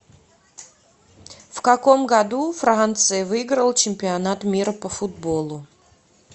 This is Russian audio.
в каком году франция выиграла чемпионат мира по футболу